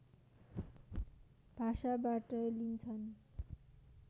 भाषाबाट लिन्छन्